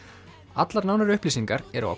allar nánari upplýsingar eru á